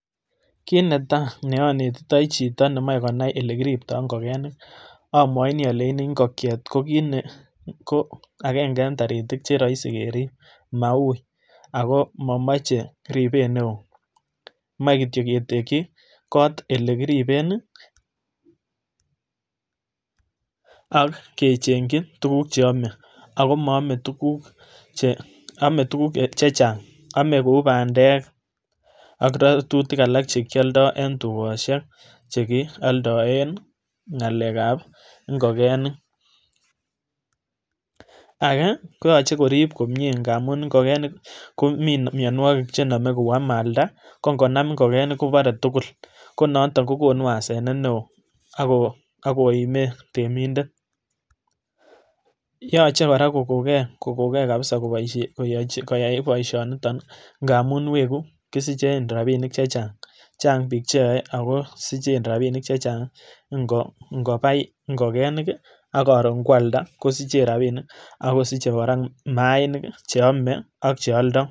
Kit netai neonetitoi chito nemoe konai olekiripto ngokenik amwoini alein ngokyet ko kit nee ko akenge en taritik cheroisi kerip maui ako momoche ripet neo moekityok ketekyi kot elekiripen, akechengyi tukuk cheame, akoame tukuk chechang ame kou bandek ak ratutik alak chekialdo en tukosiek chekialdoen ng'alekab ngokenik, ake koyoche korip komie ngamu ngokenik komi mianwoki chenome kou amalda kongonam ngokenik kobare tugul konoondon kokonu asenet neo akoime temindet, yoche kora kokoke, kokoke kabsa koyai boisionito ngamu weku kisichen rapinik chang, chang biik cheyoe akosichen rapinik chechang ngopai ngokenik akoron kwalda kosichen rapinik akosiche kora maainik cheome ak chealdo.